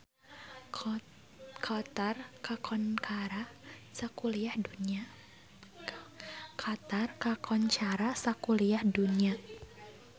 Qatar kakoncara sakuliah dunya